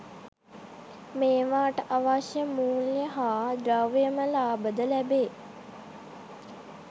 මේවාට අවශ්‍ය මූල්‍ය හා ද්‍රව්‍යමය ලාභ ද ලැබේ.